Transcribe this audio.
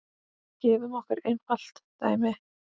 Gefum okkur einfalt dæmi.